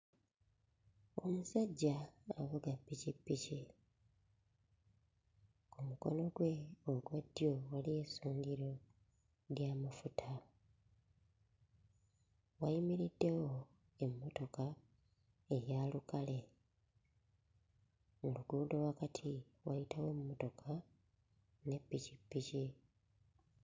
Omusajja avuga ppikippiki, ku mukono gwe ogwa ddyo waliyo essundiro ly'amafuta, wayimiriddewo emmotoka eya lukale, mu luguudo wakati wayitawo emmotoka ne ppikippiki.